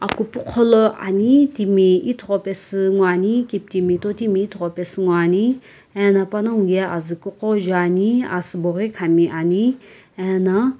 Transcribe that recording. akupugho lo ane timi ithoghi paesu nguo ane kitimi totimi ithoghi paesu nguo ane ano panagho azii ghuko juane asii bo ghi kam ame ano --